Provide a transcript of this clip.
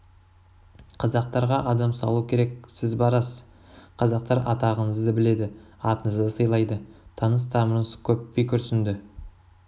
қазақтарға адам салу керек сіз барасыз қазақтар атағыңызды біледі атыңызды сыйлайды таныс тамырыңыз көп би күрсінді